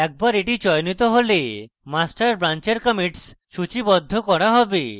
একবার এটি চয়নিত হলে master ব্রান্চের commits সূচীবদ্ধ করা হবে